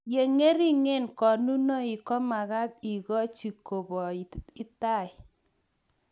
ye ng'ering'en konunoik ko mekat ikochi koboit tai